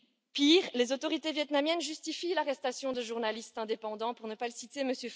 Pire, les autorités vietnamiennes justifient l'arrestation de journalistes indépendants pour ne pas le citer, M.